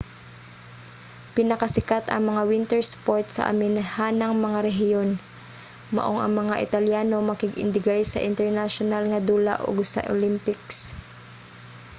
pinakasikat ang mga winter sport sa aminahang mga rehiyon maong ang mga italyano makig-indigay sa internasyonal nga dula ug sa olympics